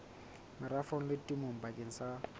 merafong le temong bakeng sa